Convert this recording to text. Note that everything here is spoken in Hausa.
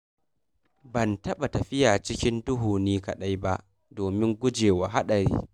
Ban taɓa tafiya cikin duhu ni kaɗai ba domin gujewa haɗari.